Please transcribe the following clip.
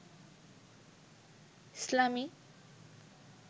ইসলামী